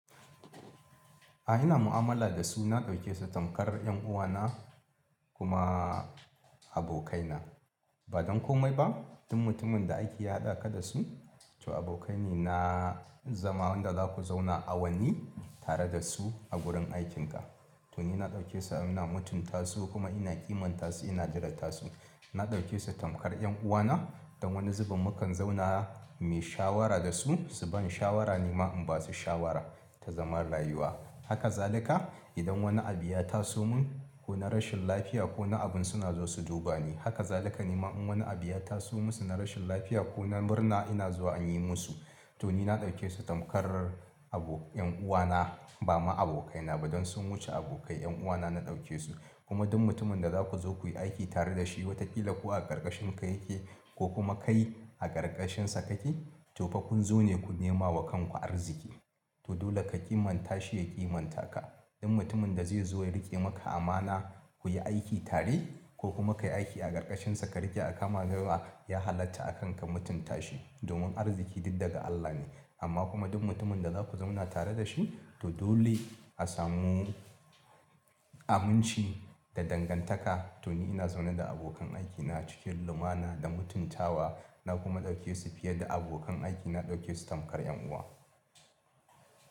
A ina mu'amala da su na ɗauke su tamkar ƴan'uwana kumaa abokaina. Ba don komai ba, du mutumin da ake yaɗa ka da su to abokai ne na. Zama wanda za ku zauna awanni tare da su a gurin aikinka to ni na ɗauke su ina mutunta su kuma ina ƙiman ta su ina jarrata su. Na ɗauke su tamkar ƴan'uwana dan wani zubin mukan zauna mai shawara da su, su ban shawara nima in ba su shawara ta zaman rayuwa. Haka zalika idan wani abi ya taso mun ko na rashin lafiya ko na abun suna zuwa su duba ni. Haka zalika nima in wani abu ya taso musu na rashin lafiya ko na murna ina zuwa an yi musu to ni na ɗauke su tamkar abo-- ƴan'uwana bama abokaina ba don sun wuce abokai, ƴan'uwana na ɗauke su. Kuma duk mutumin da za ku zo kuyi aiki tare da shi wataƙila ko a ƙarƙashin ka yake ko kuma kai a ƙarƙashinsa kake tofa kun zo ne ku nema wa kan ku arziki. To dole ka ƙimanta shi, ya ƙimanta ka. Du mutumin da zai zo ya riƙe maka amana kuyi aiki tare ko kuma ka yi aiki a ƙarƙashinsa ka riƙe a kamaema ya halatta a kanka mutunta shi. Domin arziki duk daga Allah ne amma kuma duk mutumin da za ku zauna tare da shi to dole a samu aminci da dangantaka to ni ina zaune da abokan aikina cikin lumana da mutuntawa na kuma ɗauke su fiye da abokan aikina, ɗauke su tamkar ƴan'uwa.